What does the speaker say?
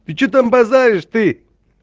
ты что там базаришь ты